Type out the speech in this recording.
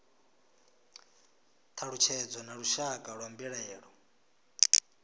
thalutshedzo na lushaka lwa mbilaelo